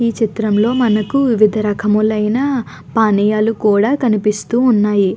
ఈ చిత్రంలో మనకి వివిధ రకములైన పానీయాలు కూడా కనిపిస్తూ వున్నాయి.